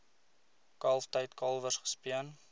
kalftyd kalwers gespeen